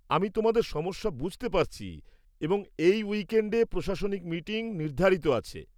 আমি তোমাদের সমস্যা বুঝতে পারছি এবং এই উইকএণ্ডে প্রশাসনিক মিটিং নির্ধারিত আছে।